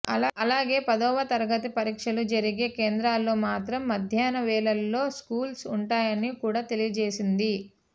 అలాగే పదవ తరగతి పరీక్షలు జరిగే కేంద్రాలలో మాత్రం మధ్యాహ్న వేళలో స్కూల్స్ ఉంటాయని కూడా తెలియజేసింది